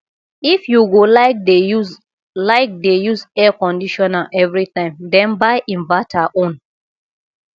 if you go like dey use like dey use air conditioner evritime den buy inverter own